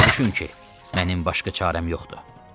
Başa düşün ki, mənim başqa çarəm yoxdur.